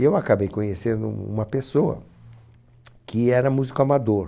E eu acabei conhecendo uma pessoa que era músico amador.